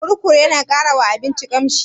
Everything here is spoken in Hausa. Kurkur yana ƙara wa abinci ƙamshi?